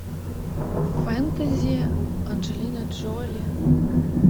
фэнтези анджелина джоли